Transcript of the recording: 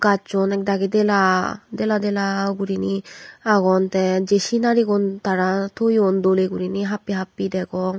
gajchun ekdagi dela deladela gurinei agon teh jeh sinari gun tara toyun doleh gurinei happeh happeh degong.